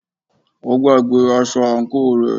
Ó gbàgbé aṣọ àǹkóò rẹ̀.